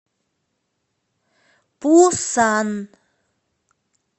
пусан